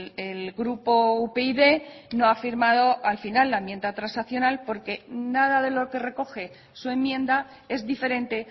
el grupo upyd no ha firmado al final la enmienda transaccional porque nada de lo que recoge su enmienda es diferente